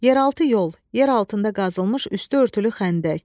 Yeraltı yol, yer altında qazılmış üstü örtülü xəndək.